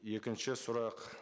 екінші сұрақ